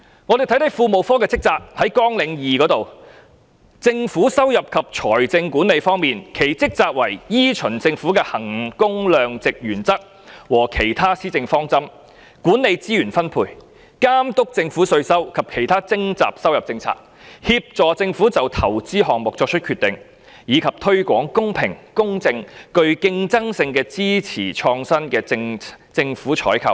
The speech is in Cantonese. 我們看看庫務科的職責，在綱領2中，政府收入及財政管理方面，其職責為"依循政府的衡工量值原則和其他施政方針，管理資源分配，監督政府的稅收及其他徵集收入政策，協助政府就投資項目作出決定，以及推廣公開、公平、具競爭性和支持創新的政府採購"。